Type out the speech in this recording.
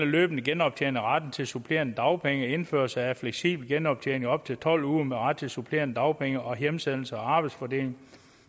løbende genoptjening af retten til supplerende dagpenge indførelse af fleksibel genoptjening op til tolv uger med ret til supplerende dagpenge og hjemsendelse og arbejdsfordeling